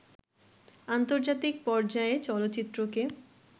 আন্তর্জাতিক পর্যায়ে চলচ্চিত্রকে